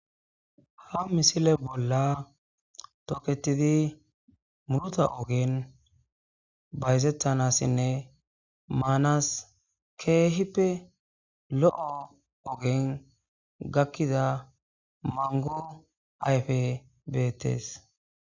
ha misile bolla toketidi murota ogen bayzettanassinne maanas keehippe lo7o ogen gakkiza mango ayfe beettes